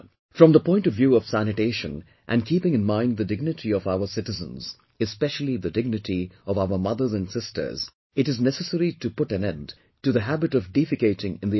From the point of view of sanitation and keeping in mind the dignity of our citizens, especially the dignity of our mothers and sisters, it is necessary to put an end to the habit of defecating in the open